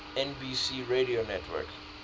nbc radio network